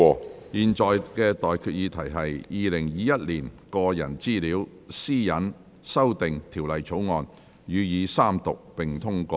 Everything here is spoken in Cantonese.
我現在向各位提出的待議議題是：《2021年個人資料條例草案》予以三讀並通過。